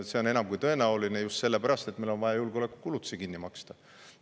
See on enam kui tõenäoline just sellepärast, et meil on vaja julgeolekukulutusi kinni maksta.